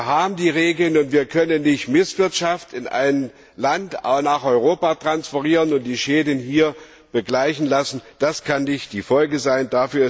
Wir haben die Regeln, und wir können Misswirtschaft in einem Land nicht nach Europa transferieren und die Schäden hier begleichen lassen. Das kann nicht die Folge sein.